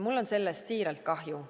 Mul on sellest siiralt kahju.